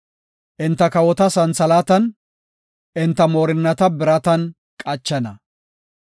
Enta kawota santhalaatan, enta moorinnata biratan qachana.